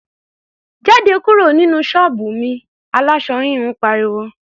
"Jáde kúrò nínú ṣọ́ọ̀bù mi!", aláṣọ híhun pariwo.